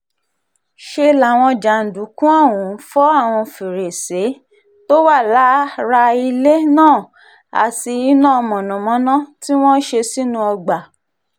ṣe làwọn jàǹdùkú ọ̀hún fọ́ àwọn fèrèsé um tó wà lára ilé um náà àti iná mọ̀nàmọ́ná tí wọ́n ṣe sínú ọgbà